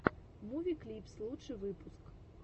муви клипс лучший выпуск